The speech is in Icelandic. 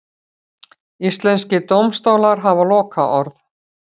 Íslenskir dómstólar hafa lokaorð